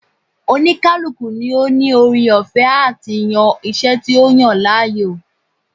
Oníkálukú ló ní ore ọ̀fẹ́ àti yan iṣẹ́ tí ó yàn láàyò